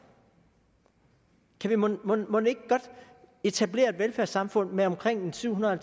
kan vi mon ikke godt etablere et velfærdssamfund med omkring syvhundrede og